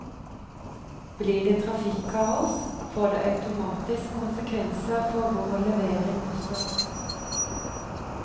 Blir det trafikkaos, får det automatisk konsekvenser for vår levering også.